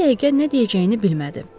Bir-iki dəqiqə nə deyəcəyini bilmədi.